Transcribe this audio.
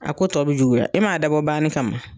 A ko tɔ bɛ juguya e m'a dabɔ banni kama.